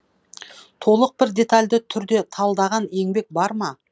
толық бір детальды түрде талдаған еңбек бар ма